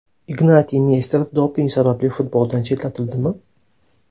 Ignatiy Nesterov doping sabab futboldan chetlatildimi?.